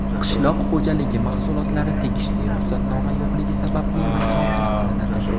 qishloq xo‘jaligi mahsulotlari tegishli ruxsatnoma yo‘qligi sababli musodara qilinadi.